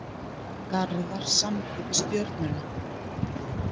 Garðar samdi við Stjörnuna